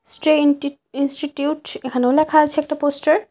স্ট্রেন্টিট institute সে এখানেও ল্যাখা আছে একটা পোস্টার ।